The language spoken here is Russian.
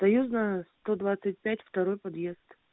союзная сто двадцать пять второй подъезд